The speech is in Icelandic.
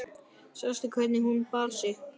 Sástu hvernig hún bar sig.